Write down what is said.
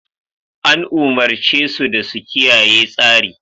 An umurce su da su kiyaye tsari!